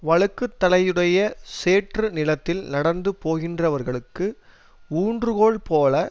வழுக்குதலையுடைய சேற்று நிலத்தில் நடந்து போகின்றவர்களுக்கு ஊன்றுகோல் போல